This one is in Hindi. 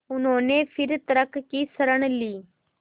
उन्होंने फिर तर्क की शरण ली